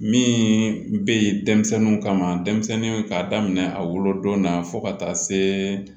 Min bɛ yen denmisɛnninw kama denmisɛnninw k'a daminɛ a wolodon na fo ka taa se